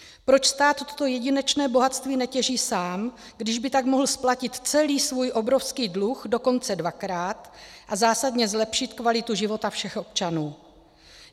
Proč stát toto jedinečné bohatství netěží sám, když by tak mohl splatit celý svůj obrovský dluh dokonce dvakrát a zásadně zlepšit kvalitu života všech občanů.